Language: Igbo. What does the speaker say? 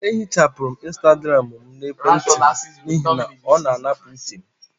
Eehichapụrụ m Instagram n' emwenti m n'ihi na ọ na-anapụ uche m